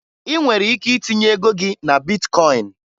Ị nwere ike itinye ego gị na bitkọyịn